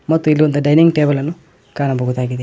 ಮತ್ತು ಇಲ್ಲಿ ಒಂದು ಡೈನಿಂಗ್ ಟೇಬಲ್ ಅನ್ನು ಕಾಣಬಹುದಾಗಿದೆ.